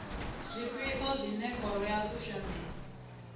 zwifhio zwine khoro ya kushemele